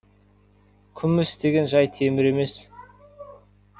күміс деген жай темір емес